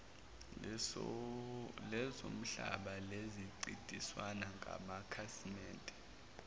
lezomhlaba selincintisana ngamakhasimede